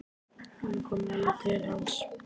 Hún er komin alveg til hans.